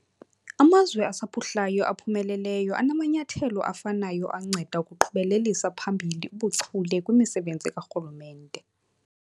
Amazwe asaphuhlayo aphumeleleyo anamanyathelo afanayo anceda ukuqhubelelisa phambili ubuchule kwimisebenzi karhulumente.